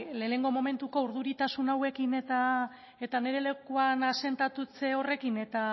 lehenengo momentuko urduritasun hauekin eta nire lekuan asentatze horrekin eta